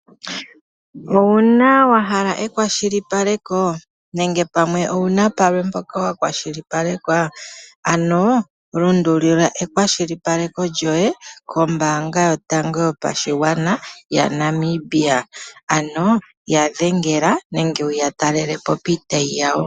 Owu na wa hala ekwashilipaleko nenge owu na mpoka wa kwashilipalekwa ano lundululila ekwashilipaleko lyoye kombanga yotango yopashigwana yaNamibia ano ya dhengela nenge wuya talelepo piitayi yawo.